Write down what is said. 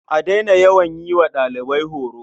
A daina yawan yi wa ɗalibai horo.